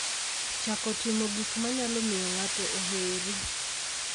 chako timo gik manyalo miyo ng'ato oheri